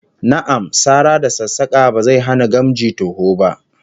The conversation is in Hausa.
Na'am, sara da sassaka ba zai hana gamji toho ba